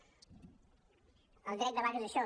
el dret de vaga és això